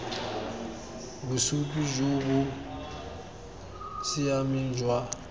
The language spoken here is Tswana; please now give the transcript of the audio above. bosupi jo bo siameng jwa